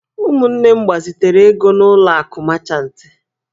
Ụmụnne m gbazitere ego n'ụlọ akụ mechantị.